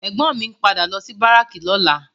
Ègbòn mi n pádà lò si báráki lòlá